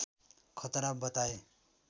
खतरा बताए